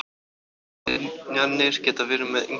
Ofskynjanir geta verið með ýmsum hætti.